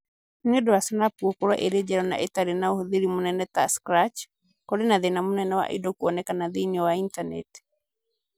Nĩ ũndũ wa Snap gũkorũo ĩrĩ njerũ na ĩtarĩ na ũhũthĩri mũnene ta Scratch, kũrĩ na thĩna mũnene wa indo kuonekana thĩiniĩ wa intaneti